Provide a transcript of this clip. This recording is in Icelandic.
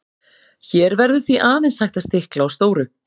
hér verður því aðeins hægt að stikla á stóru